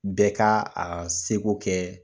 Bɛɛ ka a seko kɛ